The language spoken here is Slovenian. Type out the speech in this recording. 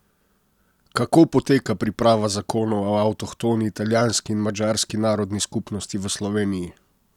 Kako poteka priprava zakona o avtohtoni italijanski in madžarski narodni skupnosti v Sloveniji?